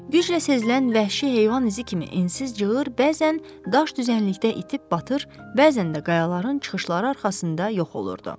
Güclə sezilən vəhşi heyvan izi kimi ensiz cığır bəzən daş düzənlikdə itib batır, bəzən də qayaların çıxışları arxasında yox olurdu.